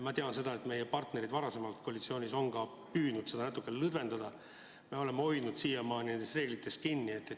Ma tean seda, et meie partnerid varasemas koalitsioonis on püüdnud neid reegleid natukene lõdvendada, aga me oleme siiamaani hoidnud nendest kinni.